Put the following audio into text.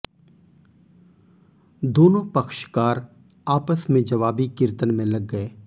दोनों पक्षकार आपस में जवाबी कीर्तन में लग गए